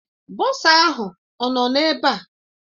Bọsa ahụ ọ nọ ebe a?